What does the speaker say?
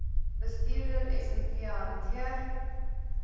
bestuurder smv hanteer